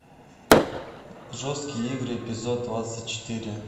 жесткие игры эпизод двадцать четыре